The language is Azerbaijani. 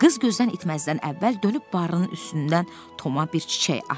Qız gözdən itməzdən əvvəl dönüb barının üstündən Toma bir çiçək atdı.